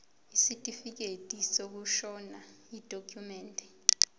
isitifikedi sokushona yidokhumende